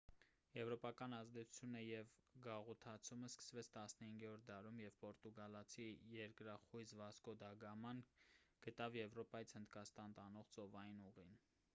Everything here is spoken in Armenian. եվրոպական ազդեցությունը և գաղութացումն սկսվեց 15-րդ դարում երբ պորտուգալացի երկրախույզ վասկո դա գաման գտավ եվրոպայից հնդկաստան տանող ծովային ուղին